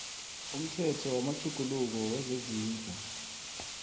umthetho wamatjhuguluko wezezindlu